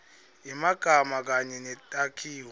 yemagama kanye netakhiwo